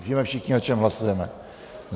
Víme všichni, o čem hlasujeme.